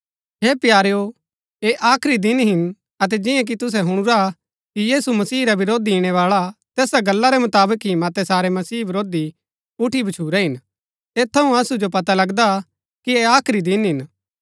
हे प्यारेओ ऐह आखरी दिन हिन अतै जिआं कि तुसै हुणुरा कि यीशु मसीह रा विरोधी ईणैबाळा तैसा गल्ला रै मुताबक ही मतै सारै मसीह वरोधी उठी भछूरै हिन ऐत थऊँ असु जो पता लगदा कि ऐह आखरी दिन हिन